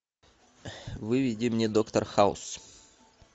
выведи мне доктор хаус